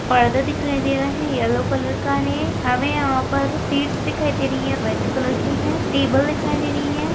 पर्दा दिखाई दे रहा है येल्लो कलर का है हमें यहाँ पर सीट्स दिखाई दे रही है रेड कलर की टेबल दिखाई दे रही है।